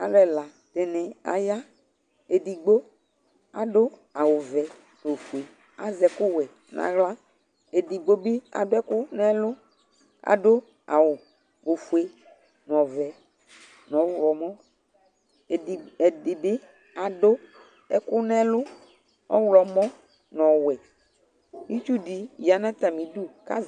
Alʋ ɛla dɩnɩ aya Edigbo adʋ awʋvɛ nʋ ofue Azɛ ɛkʋwɛ nʋ aɣla Edigbo bɩ adʋ ɛkʋ nʋ ɛlʋ kʋ adʋ awʋ ofue nʋ ɔvɛ nʋ ɔɣlɔmɔ Edɩgb ɛdɩ bɩ adʋ ɛkʋ nʋ ɛlʋ ɔɣlɔmɔ nʋ ɔwɛ Itsu dɩ ya nʋ atamɩdu kʋ az